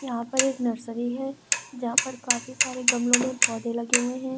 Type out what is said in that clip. यहां पर एक नर्सरी है जहाँ पर काफी सारे गमलो में पौधे लगे हुए हैं।